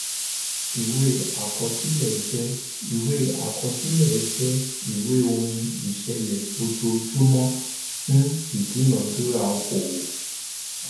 ìwé àkọsílẹ jẹ ìwé àkọsílẹ jẹ ìwé ohun ìṣẹlẹ ojojúmọ fún ìdúnadúrà okòowò